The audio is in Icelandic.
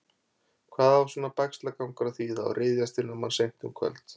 Hvað á svona bægslagangur að þýða og ryðjast inn á mann seint um kvöld?